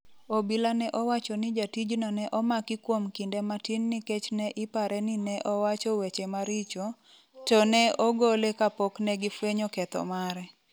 obila ne owacho ni jatijno ne omaki kuom kinde matin nikech ne ipare ni ne owacho weche maricho, to ne ogole kapok negi fwenyo ketho mare